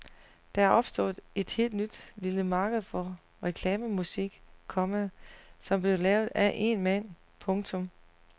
Der er opstået et helt nyt lille marked for reklamemusik, komma som bliver lavet af én mand. punktum